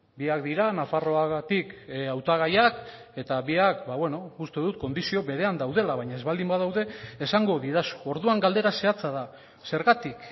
biak dira nafarroagatik hautagaiak eta biak uste dut kondizio berean daudela baina ez baldin badaude esango didazu orduan galdera zehatza da zergatik